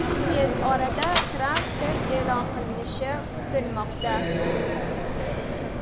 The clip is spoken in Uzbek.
Tez orada transfer e’lon qilinishi kutilmoqda.